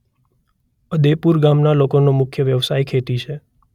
અદેપુર ગામના લોકોનો મુખ્ય વ્યવસાય ખેતી છે.